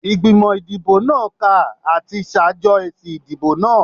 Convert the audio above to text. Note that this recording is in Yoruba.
Igbimọ idibo naa ka ati ṣajọ esi idibo naa